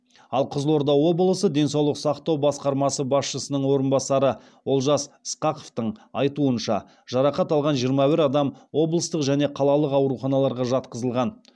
ал қызылорда облысы денсаулық сақтау басқармасы басшысының орынбасары олжас ысқақовтың айтуынша жарақат алған жиырма бір адам облыстық және қалалық ауруханаларға жатқызылған